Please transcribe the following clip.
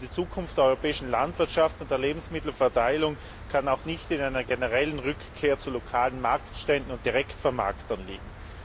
Die Zukunft der europäischen Landwirtschaft und der Lebensmittelverteilung kann auch nicht in einer generellen Rückkehr zu lokalen Marktständen und Direktvermarktern liegen.